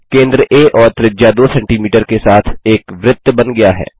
केंद्र आ और त्रिज्या 2सीएम के साथ एक वृत्त बन गया है